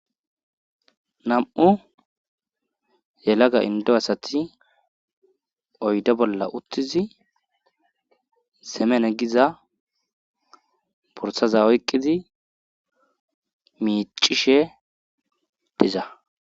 nam7u yelaga indo asati oyde bolla uttizi semene giza bursaza oyqqidi miicishe diza